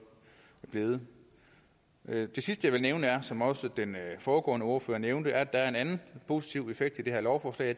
blevet det sidste jeg vil nævne som også den foregående ordfører nævnte er at der er en anden positiv effekt ved det her lovforslag